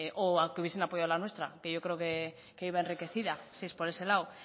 o que hubiesen apoyado la nuestra porque yo creo que iba enriquecida si es por ese lado